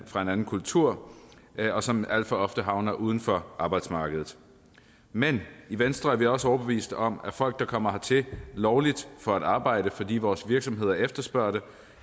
fra en anden kultur og som alt for ofte havner uden for arbejdsmarkedet men i venstre er vi også overbeviste om at folk der kommer hertil lovligt for at arbejde fordi vores virksomheder efterspørger